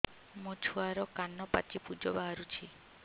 ମୋ ଛୁଆର କାନ ପାଚି ପୁଜ ବାହାରୁଛି